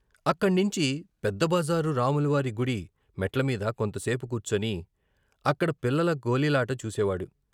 అక్కణ్ణించి పెద్ద బజారు రాముల వారి గుడి మెట్ల మీద కొంత సేపు కూర్చుని అక్కడ పిల్లల గోలీలాట చూసేవాడు.